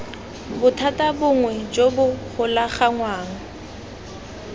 bothata bongwe jo bo golaganngwang